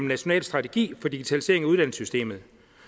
national strategi for digitalisering i uddannelsessystemet